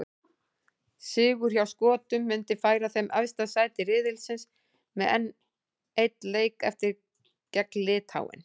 Sigur hjá Skotum myndi færa þeim efsta sæti riðilsins með einn leik eftir, gegn Litháen.